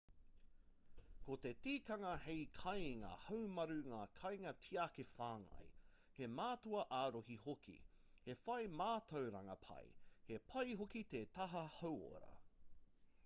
ko te tikanga he kāinga haumaru ngā kainga tiaki whāngai he mātua āroha hoki he whai mātauranga pai he pai hoki te taha hauora